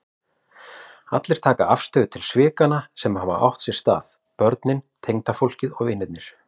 Allir taka afstöðu til svikanna sem hafa átt sér stað, börnin, tengdafólkið, vinirnir.